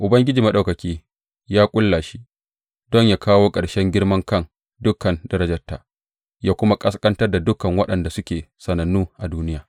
Ubangiji Maɗaukaki ya ƙulla shi, don yă kawo ƙarshen girman kan dukan darajarta ya kuma ƙasƙantar da dukan waɗanda suke sanannu a duniya.